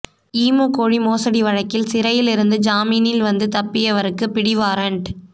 emu கோழி மோசடி வழக்கில் சிறையிலிருந்து ஜாமீனில் வந்து தப்பியவருக்கு பிடிவாரண்ட்